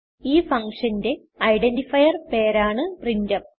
ഈ functionന്റെ ഐഡന്റിഫയർ പേര് ആണ് പ്രിന്റ്ഫ്